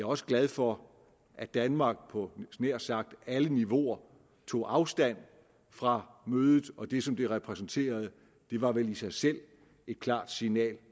også glad for at danmark på jeg nær sagt alle niveauer tog afstand fra mødet og det som det repræsenterede det var vel i sig selv et klart signal